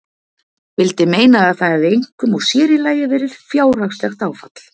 Vildi meina að það hefði einkum og sérílagi verið fjárhagslegt áfall.